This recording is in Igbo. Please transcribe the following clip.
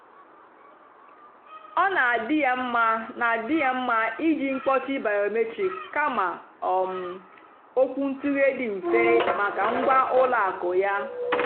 ọ́ nà-àdì́ yá mmá nà-àdì́ yá mmá ìjì mkpọ́chì bìómétric kàmà um ókwúntụ̀ghé dì mmfè màkà ngwá ùlọ àkụ́ yá.